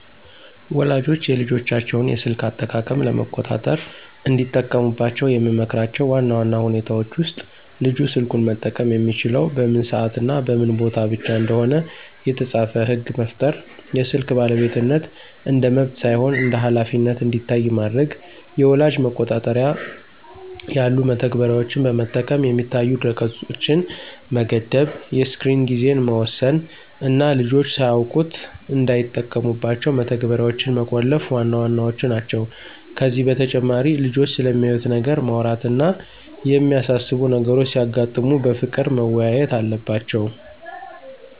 ወላጆች የልጆቻቸውን የስልክ አጠቃቀም ለመቆጣጠር እንዲጠቀሙባቸው የምመክራቸው ዋና ዋና ሁኔታዎች ውስጥ፦ ልጁ ስልኩን መጠቀም የሚችለው በምን ሰዓትና በምን ቦታ ብቻ እንደሆነ የተጻፈ ሕግ መፍጠር፣ የስልክ ባለቤትነት እንደ መብት ሳይሆን እንደ ኃላፊነት እንዲታይ ማድረግ፣ የወላጅ መቆጣጠሪያ ያሉ መተግበሪያዎችን በመጠቀም የሚታዩ ድረ-ገጾችን መገደብ፣ የስክሪን ጊዜን መወሰን እና ልጆች ሳያውቁት እንዳይጠቀሙባቸው መተግበሪያዎችን መቆለፍ ዋና ዋናዎቹ ናቸው። ከዚህ በተጨማሪ ልጆቹ ስለሚያዩት ነገር ማውራት እና የሚያሳስቡ ነገሮች ሲያጋጥሙ በፍቅር መወያየት አለባቸው።